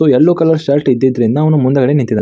So yellow colour shirt ಇದ್ದಿದ್ರಿಂದ ಅವನು ಮುಂಡಗಡೆ ನಿಂತಿದ್ದಾನೆ.